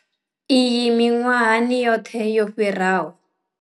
Iyi miṅwahani yoṱhe yo fhiraho.